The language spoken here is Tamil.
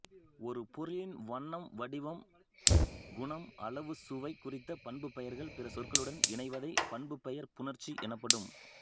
ஒரு பொருளின் வண்ணம்வடிவம்குணம்அளவுசுவை குறித்த பண்பு பெயர்கள் பிற சொற்களுடன் இணைவதை பண்புப்பெயர் புணர்ச்சி எனப்படும்